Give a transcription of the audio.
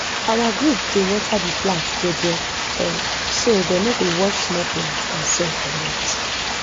our group dey water the plant jeje um so dey no go wash small plant and soil comot